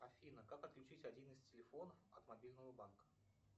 афина как отключить один из телефонов от мобильного банка